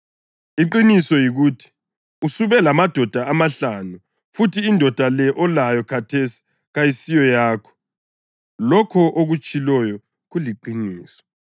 Iqiniso yikuthi usube lamadoda amahlanu, futhi indoda le olayo khathesi kayisiyakho. Lokho okutshiloyo kuliqiniso.”